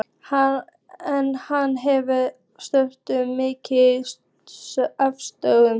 En hann hefur afsökun, mikla afsökun.